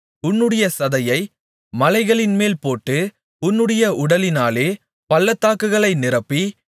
உன்னுடைய சதையை மலைகளின்மேல் போட்டு உன்னுடைய உடலினாலே பள்ளத்தாக்குகளை நிரப்பி